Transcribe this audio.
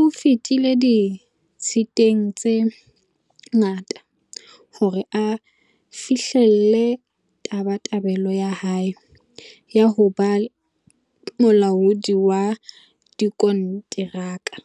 o fetile di-tshiteng tse ngata hore a fi-hlelle tabatabelo ya hae ya ho ba molaodi wa dikonteraka.